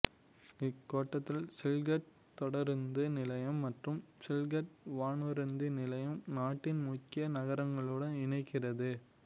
இக்கோட்டத்தின் சில்ஹெட் தொடருந்து நிலையம் மற்றும் சில்ஹெட் வானூர்தி நிலையம் நாட்டின் முக்கிய நகரங்களுடன் இணைக்கிறது